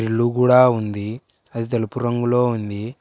ఇల్లు గూడ ఉంది అది తెలుపు రంగులో ఉంది.